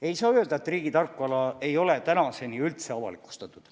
Ei saa öelda, et riigi tarkvara ei ole tänaseni üldse avalikustatud.